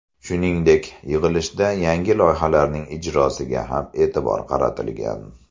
Shuningdek, yig‘ilishda yangi loyihalarning ijrosiga ham e’tibor qaratilgan.